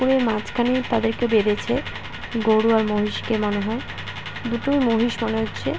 মাঝখানে তাদেরকে বেঁধেছে গরু আর মহিষকে মনে হয় দুটোই মহিষ মনে হচ্ছে ।